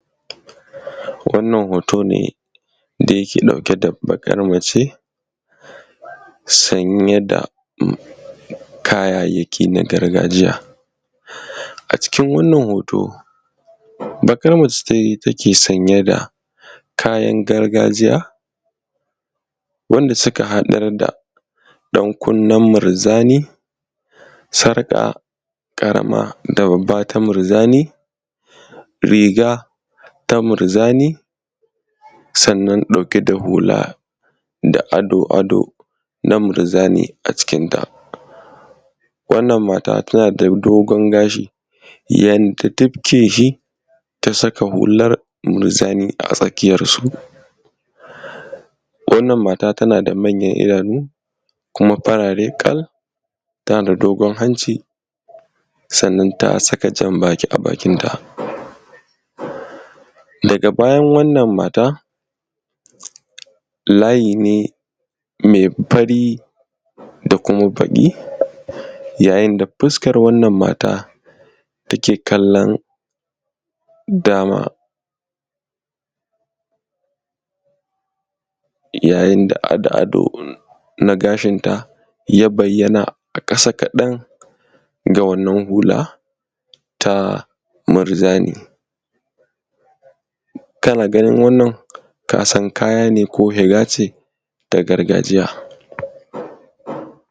Wannan hoto ne da yake ɗauke da baƙar mace sanye da kayayyaki na gargajiya. A cikin wannan hoto baƙar mace ce take sanye da kayan gargajiya, wanda suka haɗa da ɗankunnen murjani, sarƙa ƙarama da babba ta murjani, riga ta murjani. Sannan ɗauke da hula da ado-ado na murjani a cikinta. Wannan mata tana da dogon gashi an tukke shi, ta saka hular murjani a tsakiyarsu. Wannan mata tana da manyan idanu kuma farare ƙal, tana da dogon hanci, sannan ta saka jan-baki a bakinta. Daga bayan wannan mata layi ne mai fari da kuma baƙi, yayin da fuskar wannan mata take kallon dama, yayin da ado na gashinta ya bayyana, a ƙasa kaɗan da wannan hular ta murjani, kana ganin wannan ka san kaya ne ko shiga ce ta gargajiya.